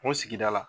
O sigida la